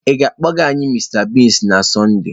Ị ga-akpọga anyị Mr Biggs na Sọnde?